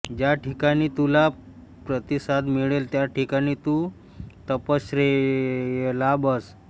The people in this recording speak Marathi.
ज्या ठिकाणी तुला प्रतिसाद मिळेल त्या ठिकाणी तू तपश्चर्येला बस